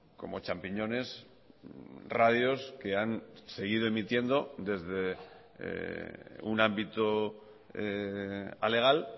como champiñones radios que han seguido emitiendo desde un ámbito alegal